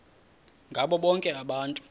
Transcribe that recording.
ngabo bonke abantu